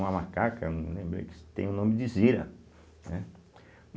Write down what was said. Uma macaca, não lembro aí, que se tem o nome de Zira, né?